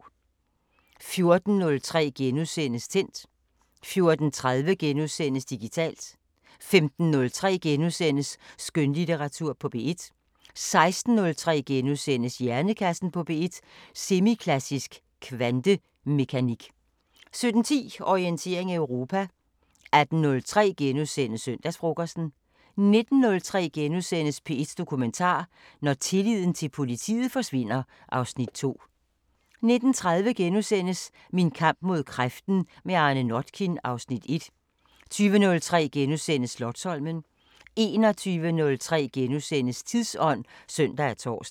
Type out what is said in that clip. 14:03: Tændt * 14:30: Digitalt * 15:03: Skønlitteratur på P1 * 16:03: Hjernekassen på P1: Semiklassisk kvantemekanik * 17:10: Orientering Europa 18:03: Søndagsfrokosten * 19:03: P1 Dokumentar: Når tilliden til politiet forsvinder (Afs. 2)* 19:30: Min kamp mod kræften – med Arne Notkin (Afs. 1)* 20:03: Slotsholmen * 21:03: Tidsånd *(søn og tor)